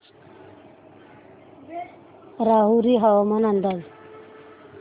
राहुरी हवामान अंदाज